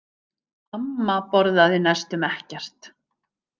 Amma borðaði næstum ekkert.